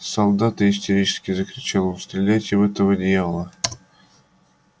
солдаты истерически закричал он стреляйте в этого дьявола